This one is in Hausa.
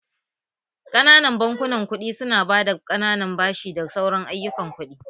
Ƙananan bankunan kuɗi su na ba da ƙananan bashi da sauran ayyukan kuɗi